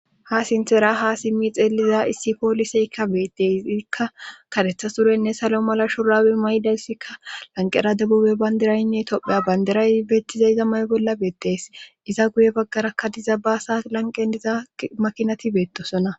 Ha sinthera ha simmi xeeliza issi pooliseykka beetteysikka katetha surenne salo mala shurawi maydayssikka lanqera debube bayndiraynne tophe bandiray beettiza iza may bolla beettes iza guye baggarakka diza baasa lanqendiza makinati beettosona.